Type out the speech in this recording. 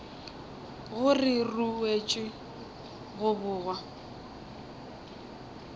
gore di ruetšwe go bogwa